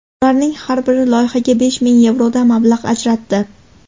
Ularning har biri loyihaga besh ming yevrodan mablag‘ ajratdi.